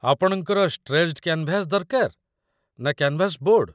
ଆପଣଙ୍କର stretched canvas ଦରକାର ନା କ୍ୟାନ୍‌ଭାସ୍‌ ବୋର୍ଡ?